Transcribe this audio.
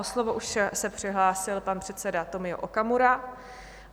O slovo se už přihlásil pan předseda Tomio Okamura.